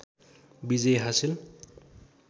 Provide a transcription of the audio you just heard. विजय हासिल